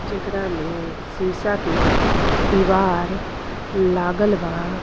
जेकरा में शीशा के दीवार लागल बा।